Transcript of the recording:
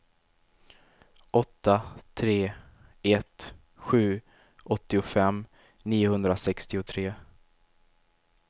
åtta tre ett sju åttiofem niohundrasextiotre